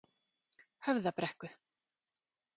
Höfðabrekku